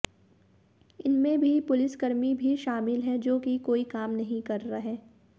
इनमें भी पुलिसकर्मी भी शामिल है जो कि कोई काम नहीं कर रहे